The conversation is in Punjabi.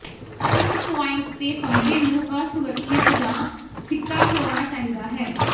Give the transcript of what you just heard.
ਇਸ ਪੁਆਇੰਟ ਤੇ ਫ਼ੰਬੇ ਨੂੰ ਅਸੁਰੱਖਿਅਤ ਜਾਂ ਫਿੱਕਾ ਹੋਣਾ ਚਾਹੀਦਾ ਹੈ